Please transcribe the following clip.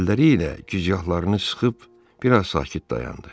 Əlləri ilə gicgahlarını sıxıb biraz sakit dayandı.